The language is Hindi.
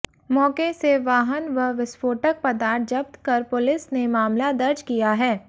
मौके से वाहन व विस्फोटक पदार्थ जब्त कर पुलिस ने मामला दर्ज किया है